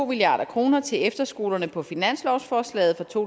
milliard kroner til efterskolerne på finanslovsforslaget for to